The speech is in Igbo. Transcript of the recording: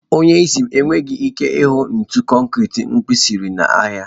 Onye isi m enweghị ike ịhụ ntu konkiri mkpirisi n'ahịa.